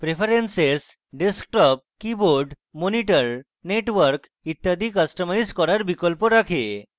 preferences desktop keyboard monitor network ইত্যাদি customise করার বিকল্প রাখে